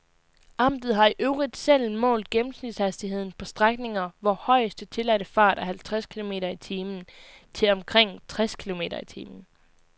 Amtet har i øvrigt selv målt gennemsnitshastigheden på strækninger, hvor højeste, tilladte fart er halvtreds kilometer i timen, til omkring tres kilometer i timen.